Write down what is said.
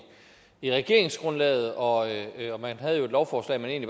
i regeringsgrundlaget og man havde jo et lovforslag man